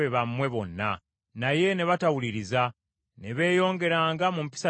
Naye ne batawuliriza, ne beeyongeranga mu mpisa zaabwe ez’edda.